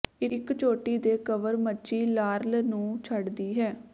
ਇਕ ਚੋਟੀ ਦੇ ਕਵਰ ਮੱਛੀ ਲਾਰਲ ਨੂੰ ਛੱਡਦੀ ਹੈ